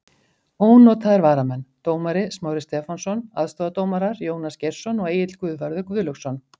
Ónotaðir varamenn: Dómari: Smári Stefánsson Aðstoðardómarar: Jónas Geirsson og Egill Guðvarður Guðlaugsson.